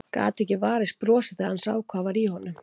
Gat ekki varist brosi þegar hann sá hvað var í honum.